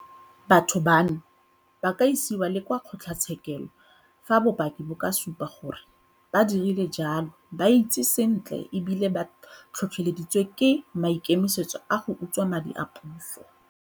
Batho bano ba ka isiwa le kwa kgotlatshekelo fa bopaki bo ka supa gore ba dirile jalo ba itsi sentle e bile ba tlhotlheleditswe ke maikemisetso a go utswa madi a puso.